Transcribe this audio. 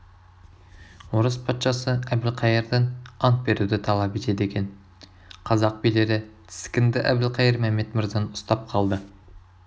орыс патшасы әбілқайырдан ант беруді талап етеді екен қазақ билері тіскінді әбілқайыр мәмед мырзаны ұстап қалды